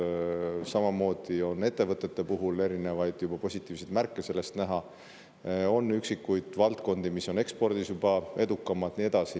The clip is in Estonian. Samamoodi on ettevõtete puhul näha erinevaid positiivseid märke, on üksikuid valdkondi, mis on ekspordis juba edukamad, ja nii edasi.